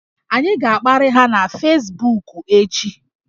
Anyị ga-akparị ha na fesbuku echi